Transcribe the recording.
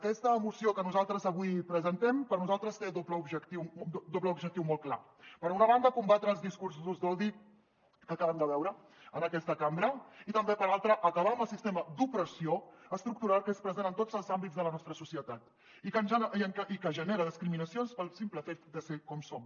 aquesta moció que nosaltres avui presentem per nosaltres té un doble objectiu molt clar per una banda combatre els discursos d’odi que acabem de veure en aquesta cambra i també per l’altra acabar amb el sistema d’opressió estructural que és present en tots els àmbits de la nostra societat i que genera discriminacions pel simple fet de ser com som